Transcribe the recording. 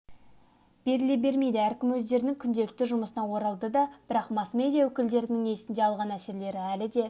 беріле бермейді әркім өздерінің күнделікті жұмысына оралдыды бірақ масс-медиа өкілдерінің есінде алған әсерлері әлі де